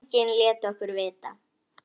Enginn lét okkur vita.